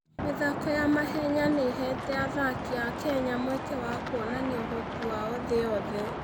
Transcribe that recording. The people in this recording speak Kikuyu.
mĩthako ya mahenya nĩ ĩheete athaki a Kenya mweke wa kuonania ũhoti wao thĩ yothe.